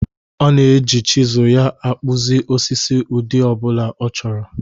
Ọ na-eji chịzụl ya akpụzị osisi n'ụdị ọ bụla ọ chọrọ.